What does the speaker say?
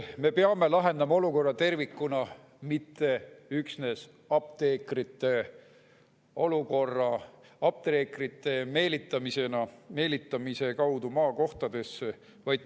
Me peame lahendama olukorra tervikuna, mitte üksnes olukorra apteekritega, meelitades apteekreid maakohtadesse.